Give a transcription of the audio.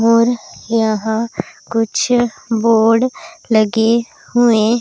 और यहां कुछ बोर्ड लगे हुए--